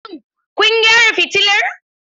Shin kun gyara fitilar?